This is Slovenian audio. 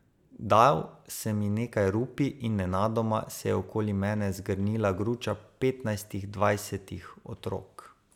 Dal sem jim nekaj rupij in nenadoma se je okoli mene zgrnila gruča petnajstih, dvajsetih otrok.